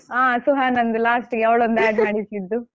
ಹಾ ಸುಹಾನಂದು last ಗೆ ಅವಳೊಂದು add ಮಾಡಿಸಿದ್ದು.